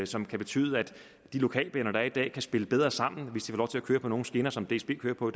som kan betyde at de lokalbaner der er i dag kan spille bedre sammen hvis de får lov til at køre på nogle skinner som dsb kører på